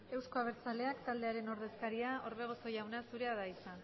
euzko abertzaleak taldearen ordezkaria orbegozo jauna zurea da hitza